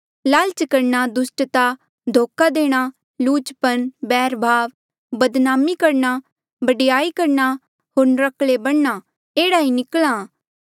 लालच करणा दुस्टता धोखा देणा लुचपन बैरभाव बदनामी करणा बडयाई करणा होर नर्क्कले बणना जेह्ड़ा ही निकल्हा